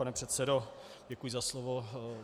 Pane předsedo, děkuji za slovo.